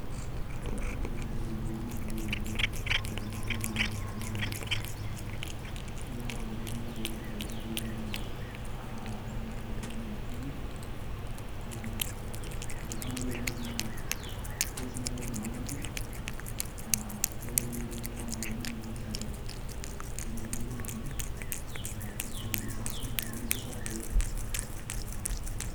Ore naaji entoki nalotu en`damunoto naa nchere ore ene wueji naa mpisai naaji niata oltung`ani wuejitin naa keeta ntokitin naa idim oltung`ani aitumia tenakata kulingana o yiwunot inonok. Ewueji na idim anotie. Ewueji naa idim sii ashomo atoomonunyie mpisai, ewueji naijo mbenkii arashu nkuli wuejitin naijo sacco ii.